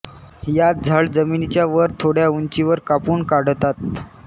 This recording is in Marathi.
यात झाड जमिनीच्या वर थोड्या ऊंचीवर कापून काढतात